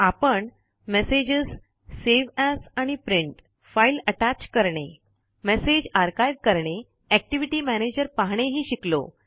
आपण messages save as आणि print file attach करणे मैसेज आर्काइव करणे एक्टिव्हिटी मॅनेजर पहाणे हि शिकलो